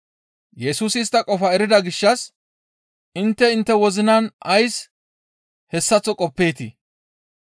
Yesusi istta qofaa erida gishshas, «Intte intte wozinan ays, hessaththo qoppeetii?